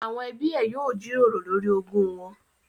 Àwọn ẹbí ẹ yóò jíròrò lórí ogún wọn